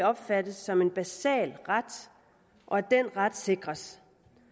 opfattes som en basal ret og den ret skal sikres